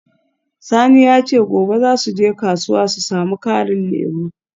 Sani ya ce gobe za su je kasuwa su samu karin lemu.